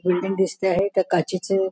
building दिसते आहे त्या काचेचे--